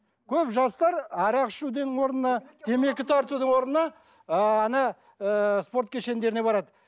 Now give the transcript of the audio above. көп жастар арақ ішудің орнына темекі тартудың орнына ыыы ана ыыы спорт кешендеріне барады